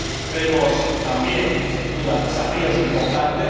Vemos también, sin duda, desafíos importantes.